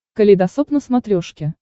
калейдосоп на смотрешке